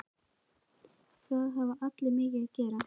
Það hafa allir mikið að gera.